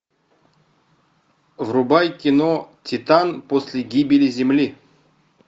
врубай кино титан после гибели земли